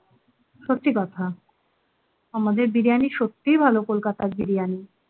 সত্যি কথা। আমাদের বিরিয়ানি সত্যিই ভালো কলকাতার বিরিয়ানি।